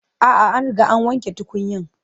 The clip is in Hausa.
A'a, an riga an wanke tukunyan.